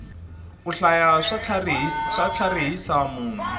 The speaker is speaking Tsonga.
ku hlaya swa tlharihisa munhu